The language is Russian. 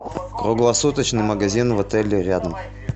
круглосуточный магазин в отеле рядом